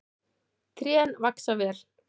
Trén vaxa vel.